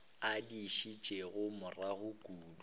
a di šetšego morago kudu